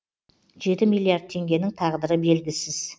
жеті миллиард теңгенің тағдыры белгісіз